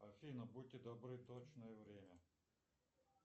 афина будьте добры точное время